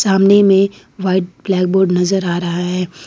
सामने में white blackboard नजर आ रहा है।